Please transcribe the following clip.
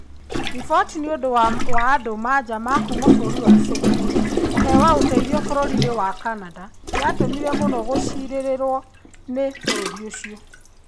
Riboti nĩũndũ ya andũ ma nja ma kũma bũrũri wa Syria kũhewa uteithio bũrũrini wa Canada yatũmire mũno gũciririo ni bũrũri ũcio